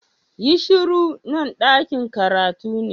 Yi shuru! Nan dakin karatu ne.